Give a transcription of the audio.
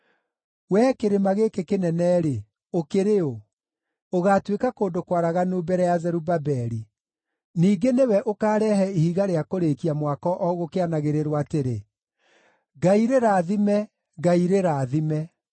“Wee kĩrĩma gĩkĩ kĩnene-rĩ, ũkĩrĩ ũ? Ũgaatuĩka kũndũ kwaraganu mbere ya Zerubabeli. Ningĩ nĩwe ũkaarehe ihiga rĩa kũrĩĩkia mwako o gũkĩanagĩrĩrwo atĩrĩ, ‘Ngai rĩrathime! Ngai rĩrathime!’ ”